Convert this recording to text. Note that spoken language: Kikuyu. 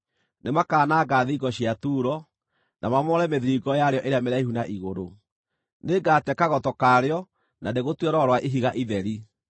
Nĩmakananga thingo cia Turo, na mamomore mĩthiringo yarĩo ĩrĩa mĩraihu na igũrũ; nĩngate kagoto karĩo na ndĩgũtue rwaro rwa ihiga itheri.